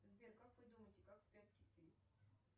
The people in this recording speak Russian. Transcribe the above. сбер как вы думаете как спят киты